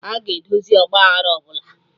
Aga edozi ọgba aghara ọbụla